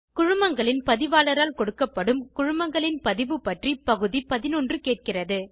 குழுமங்களின் பதிவாளரால் கொடுக்கப்படும் குழுமங்களின் பதிவு பற்றி பகுதி 11 கேட்கிறது